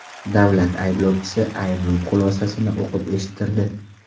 Davlat ayblovchisi ayblov xulosasini o‘qib eshittirdi.